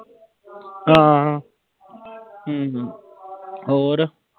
ਹਾਂ ਹਮ ਹੋਰ।